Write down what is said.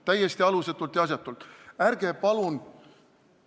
Täiesti alusetult ja asjatult!